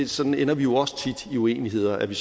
sådan ender vi jo også tit i uenigheder at det